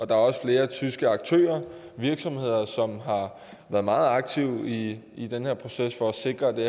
der er også flere tyske aktører virksomheder som har været meget aktive i i den her proces for at sikre at det